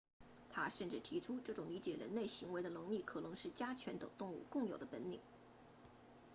他甚至提出这种理解人类行为的能力可能是家犬等动物共有的本领